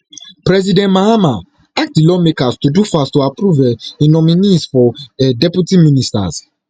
president mahama ask di lawmakers to do fast to approve um im nominees for um deputy ministers